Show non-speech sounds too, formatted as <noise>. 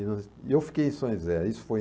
<unintelligible> E eu fiquei em São José. Isso foi